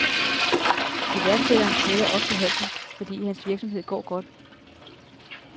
Iværksætteren knækker ofte halsen, fordi hans virksomhed går godt.